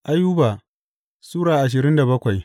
Ayuba Sura ashirin da bakwai